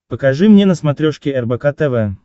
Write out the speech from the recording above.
покажи мне на смотрешке рбк тв